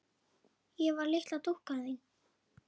Ég var litla dúkkan þín.